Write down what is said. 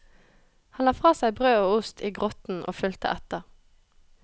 Han la fra seg brød og ost i grotten og fulgte etter.